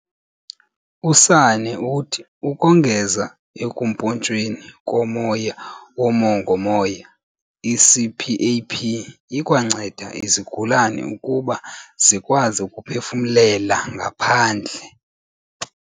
USanne uthi ukongeza ekumpontshweni komoya womongo-moya, i-CPAP ikwanceda izigulane ukuba zikwazi ukuphefumlela ngaphandle.